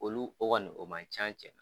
Olu o koni o man can cɛn na.